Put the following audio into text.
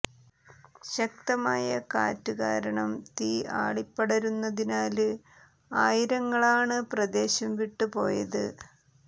ശക്തമായ കാറ്റ് കാരണം തീ ആളിപ്പടര്ന്നതിനാല് ആയിരങ്ങളാണ് പ്രദേശം വിട്ട് പോയത്